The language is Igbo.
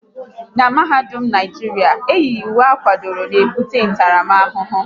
N'mahadum Naijiria, eyighi uwe akwadoro n'ebute ntaramahụhụ